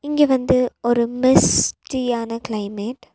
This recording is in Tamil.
இங்க வந்து ஒரு மிஸ்டியான க்ளைமேட் .